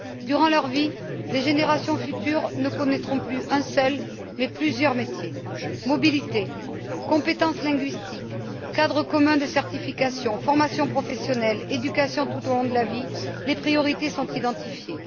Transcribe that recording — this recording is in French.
Durant leur vie, les générations futures ne connaîtront plus un seul, mais plusieurs métiers. Mobilité, compétences linguistiques, cadre commun de certification, formation professionnelle, éducation tout au long de la vie, les priorités sont identifiées.